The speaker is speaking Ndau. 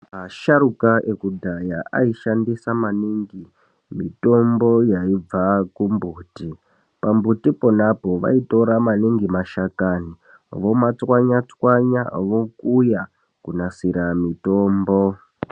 Asharukwa ekudhaya aishandisa maningi mutombo yaibva kumbuti pambuti ponapo vaitora maningi mashakani vomatswanya tswanya vokuya kunasira mutombo.